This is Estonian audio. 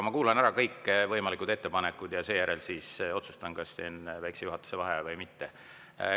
Ma kuulan ära kõik ettepanekud ja seejärel otsustan, kas teen väikse juhatuse vaheaja või mitte.